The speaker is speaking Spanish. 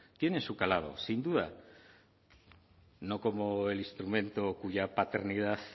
tiene su calado sin duda no como el instrumento cuya paternidad